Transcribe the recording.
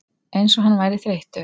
Eins og hann væri þreyttur.